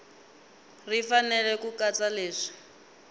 ri fanele ku katsa leswi